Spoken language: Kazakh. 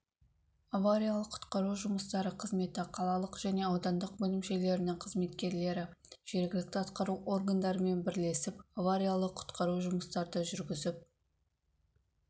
авариялық-құтқару жұмыстары қызметі қалалық және аудандық бөлімшелерінің қызметкерлері жергілікті атқару органдарымен бірлесіп авариялық-құтқару жұмыстарды жүргізіп